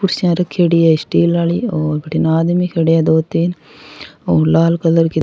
कुर्सियां रखेड़ी है स्टील वाली और भटीने आदमी खड़े है दो तीन और लाल कलर के --